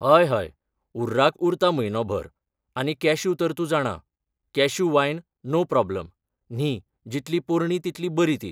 हय हय उर्राक उरता म्हयनो भर आनी कॅश्यू तर तूं जाणां कॅश्यू वायन नो प्रोबलम न्ही जितली पोरणी तितली बरी ती